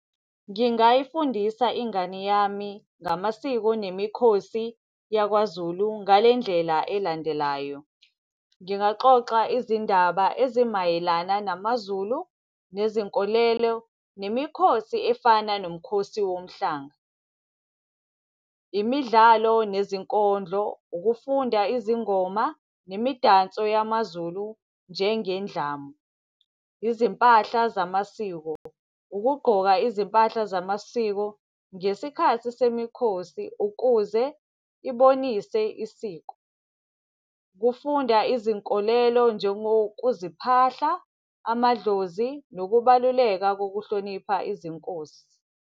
Ngingayifundisa ingane yami ngamasiko nemikhosi yakwaZulu ngale ndlela elandelayo. Ngingaxoxa izindaba ezimayelana namaZulu, nezinkolelo, nemikhosi efana nomkhosi womhlanga. Imidlalo nezinkondlo, ukufunda izingoma nemidanso yamaZulu njengendlamu. Izimpahla zamasiko, ukugqoka izimpahla zamasiko ngesikhathi semikhosi ukuze ibonise isiko. Ukufunda izinkolelo njengokuziphahla, amadlozi, nokubaluleka kokuhlonipha izinkosi.